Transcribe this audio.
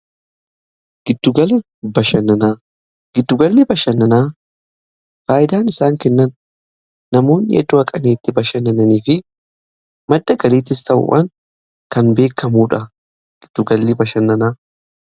Giddugalli bashannanaa faayidaan isaan kennan namoonni yeroo qannetti bashannananii fi madda galiittis ta'udhaan kan beekamuudha. Giddugalli bashannanaa.